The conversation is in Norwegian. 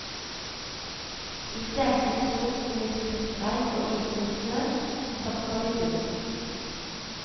I stekende sol som i stritt regn og isnende snø satt han i buret.